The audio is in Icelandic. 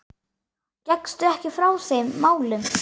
Gekkstu ekki frá þeim málum?